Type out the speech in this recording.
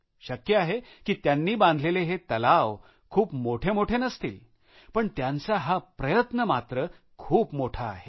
शक्य आहे की त्यांनी बांधलेले हे तलाव खूप मोठे मोठे नसतील पण त्यांचा हा प्रयत्न मात्र खूप मोठा आहे